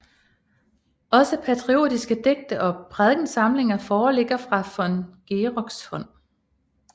Også patriotiske digte og prædikensamlinger foreligger fra von Geroks hånd